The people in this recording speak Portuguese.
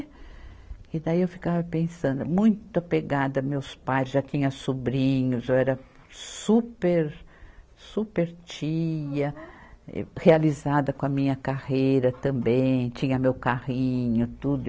E daí eu ficava pensando, muito apegada aos meus pais, já tinha sobrinhos, eu era super, super tia, realizada com a minha carreira também, tinha meu carrinho, tudo.